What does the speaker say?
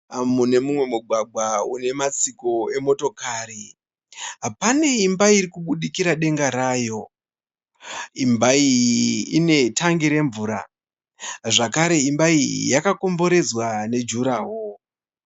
Mune mumwe mugwagwa une matsiko emotokari. Pane imba irikubudikira denga rayo. Imba iyi ine tangi remvura. Zvakare imba iyi yakakomberedzwa ne jurahoro